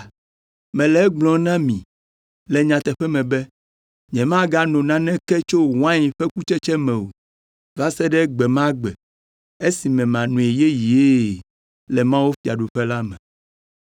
Mele egblɔm na mi le nyateƒe me be, nyemagano naneke tso wain ƒe kutsetse me o, va se ɖe gbe ma gbe, esime manoe yeyee le mawufiaɖuƒe la me.”